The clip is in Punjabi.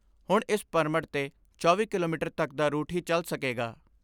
ਹੁਣ ਇਸ ਪਰਮਟ 'ਤੇ ਚੌਵੀ ਕਿਲੋਮੀਟਰ ਤੱਕ ਦਾ ਰੂਟ ਹੀ ਚਲ ਸਕੇਗਾ।